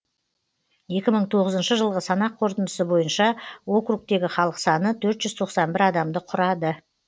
екі мың тоғызыншы жылғы санақ қорытындысы бойынша округтегі халық саны төрт жүз тоқсан бір адамды құрады